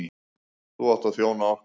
Þú átt að þjóna okkur.